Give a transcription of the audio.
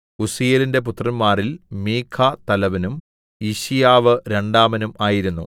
ഉസ്സീയേലിന്റെ പുത്രന്മാരിൽ മീഖാ തലവനും യിശ്ശീയാവ് രണ്ടാമനും ആയിരുന്നു